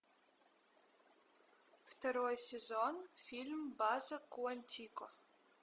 второй сезон фильм база куантико